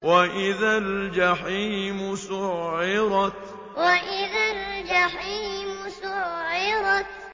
وَإِذَا الْجَحِيمُ سُعِّرَتْ وَإِذَا الْجَحِيمُ سُعِّرَتْ